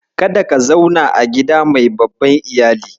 Kada ka zauna a gida mai babban Iyali.